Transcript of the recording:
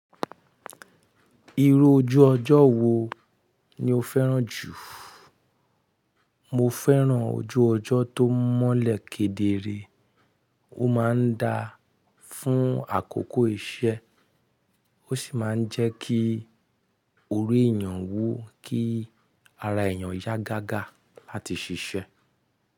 Irú ojú ọjọ́ wo ni o fẹ́ràn jù? Mo fẹ́ràn ojú ọjọ́ tó mọ́lẹ̀ kedere. Ó máa ń da fún àkókò iṣẹ́, ó sì máa ń jẹ́ kí orí èèyàn wú, kí ara èèyàn yá gágá láti ṣiṣẹ́.